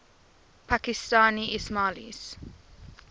pakistani ismailis